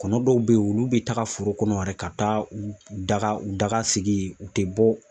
Kɔnɔ dɔw bɛ yen olu bɛ taga foro kɔnɔ yɛrɛ ka taa u daga u daga sigi yen u tɛ bɔ